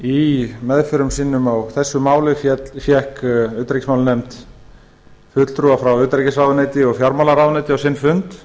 í meðförum sínum á þessu mæli fékk utanríkismálanefnd fulltrúa frá utanríkisráðuneyti fjármálaráðuneyti á sinn fund